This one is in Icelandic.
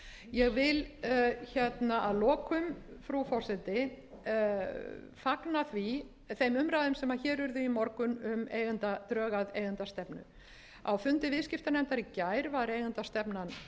ég vil að lokum frú forseti fagna þeim umræðum sem hér urðu í morgun um drög að eigendastefnu á fundi viðskiptanefndar í gær var eigendastefnan kynnt og